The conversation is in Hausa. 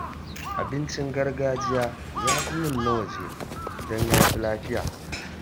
Abincin gargajiya ya fi min na waje, don ya fi lafiya